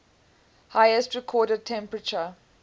highest recorded temperature